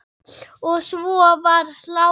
Og svo var hlátur.